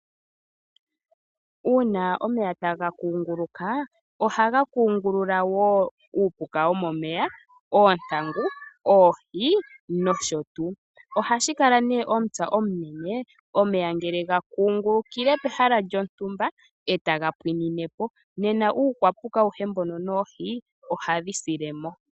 Uuna omeya taga kunguluka ohaga kungulula woo uupuka womoeya, oontangu ,oohi nosho tuu. Ohashi kala nee omupya omunene ngele omeya gakungulukile pehala lyontumba etaga pwinine po nena uupapuka awuhe mbono noohi ohawu silemo.